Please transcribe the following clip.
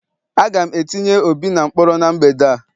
Aga m etinye obi na mkpọrọ n' mgbede a